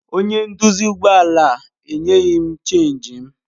Onye nduzi ụgbọ ala enyeghị m Chénjị m.